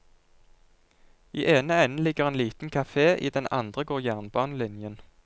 I ene enden ligger en liten kafé, i den andre går jernbanelinjen.